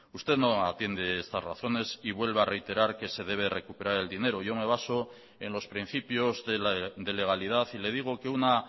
usted no atiende estas razones y vuelve a reiterar que se debe recuperar el dinero yo me baso en los principios de legalidad y le digo que una